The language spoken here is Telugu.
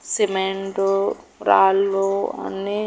సిమెంటు రాళ్ళు అన్నీ--